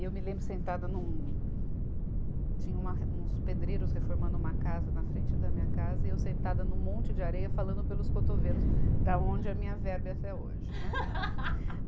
Eu me lembro sentada num, tinha uma re, uns pedreiros reformando uma casa na frente da minha casa e eu sentada num monte de areia falando pelos cotovelos, da onde é a minha verve até hoje, né.